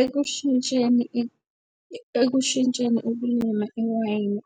Ekushintsheni ekushintsheni ukulima iwayini